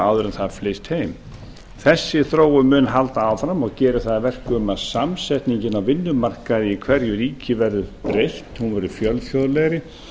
áður en það flyst heim þessi þróun mun halda áfram og gerir það að verkum að samsetningin á vinnumarkaði í hverju ríki verður breytt hún verður fjölþjóðlegri